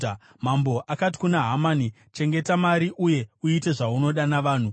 Mambo akati kuna Hamani, “Chengeta mari uye uite zvaunoda navanhu.”